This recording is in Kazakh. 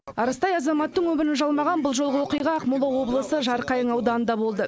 арыстай азаматтың өмірін жалмаған бұл жолғы оқиға ақмола облысы жарқайың ауданында болды